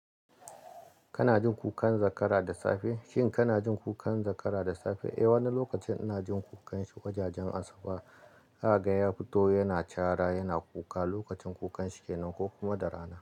Kana jin kukan zakara da safe? Shin kana jin kukan zakara da safe? Eh, wani lokacin ina jin kukan shi wajajen asuba. Haka ya fito yana cara yana kuka lokacin kukan shi kenan ko kuma da rana.